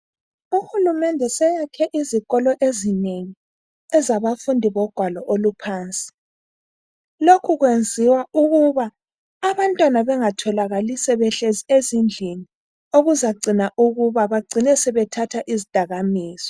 Uhulumende seyakhe izikolo ezinengi, ezabafundi bogwalo oluphansi. Lokhu kwenziwa ukuba abantwana bengatholakali sebehlezi ezindlini okuzagcina ukuba bagcine sebethatha izdakamizwa.